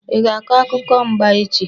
Ị ga-akọ akụkọ mba echi!